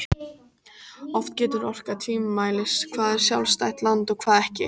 Oft getur orkað tvímælis hvað er sjálfstætt land og hvað ekki.